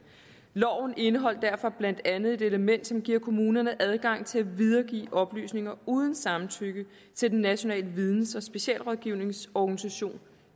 loven indeholder derfor blandt andet et element som giver kommunerne adgang til at videregive oplysninger uden samtykke til den nationale videns og specialrådgivningsorganisation